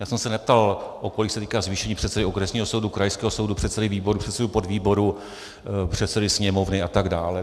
Já jsem se neptal, o kolik se týká zvýšení předsedy okresního soudu, krajského soudu, předsedy výboru, předsedy podvýboru, předsedy Sněmovny, a tak dále.